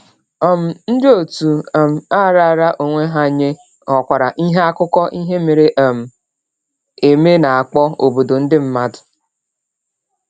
um Ndị òtù um a raara onwe ha nye ghọkwara ihe akụkọ ihe mere um eme na-akpọ “obodo ndị mmadụ.”